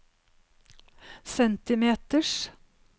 centimeters